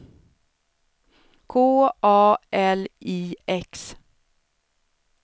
K A L I X